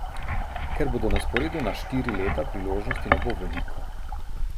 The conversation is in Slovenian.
Ker bodo na sporedu na štiri leta, priložnosti ne bo veliko.